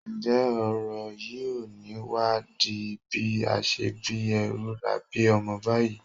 Ǹjẹ́ ọ̀rọ̀ yìí ò ní wá di bí a ṣe bí ẹrú la bí ọmọ báyìí?